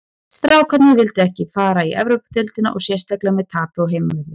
Strákarnir vildu ekki fara í Evrópudeildina og sérstaklega með tapi á heimavelli.